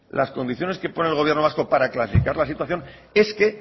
las condiciones que pone el gobierno vasco para clasificar la situación es que